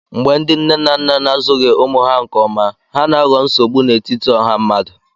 Mgbe ndị nne na nna na-azụghị ụmụ ha nke ọma, ha na-aghọ nsogbu n'etiti ọha mmadụ